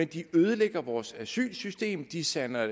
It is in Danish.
de ødelægger vores asylsystem de sander